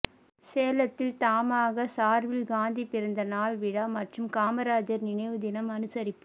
சேலத்தில் தமாகா சார்பில் காந்தி பிறந்த நாள் விழா மற்றும் காமராஜர் நினைவு தினம் அனுசரிப்பு